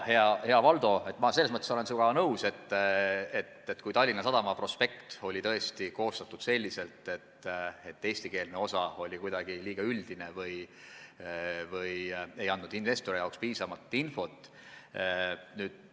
Jah, hea Valdo, ma selles osas olen sinuga nõus, et Tallinna Sadama prospekt oli tõesti koostatud selliselt, et eestikeelne osa oli liiga üldine, ei andnud investoritele piisavalt infot.